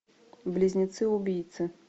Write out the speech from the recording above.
близнецы убийцы